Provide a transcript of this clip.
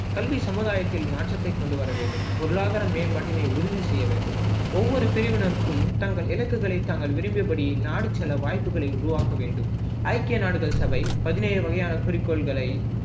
கல்வி சமுதாயத்தில் மாற்றத்தை கொண்டு வர வேண்டும் பொருளாதார மேம்பாட்டினை உறுதி செய்ய வேண்டும் ஒவ்வொரு பிரிவினருக்கும் தங்கள் இலக்குகளை தாங்கள் விரும்பியபடி நாடி செல்ல வாய்ப்புகளை உருவாக்க வேண்டும் ஐக்கிய நாடுகள் சபை பதினேழு வகையான குறிக்கோள்களை